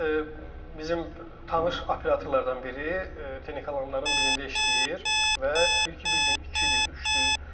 Deməli, bizim tanış operatorlardan biri Texnikalanların birində işləyir və deyir ki, bir gün ikidir, üçdür.